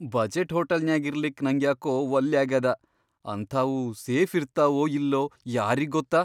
Budget ಹೋಟೆಲ್ನ್ಯಾಗ್ ಇರ್ಲಿಕ್ ನಂಗ್ಯಾಕೊ ವಲ್ಲ್ಯಾಗಾದ, ಅಂತಾವು ಸೇಫಿರ್ತಾವೊ ಇಲ್ಲೊ ಯಾರಿಗ್ಗೊತ್ತ.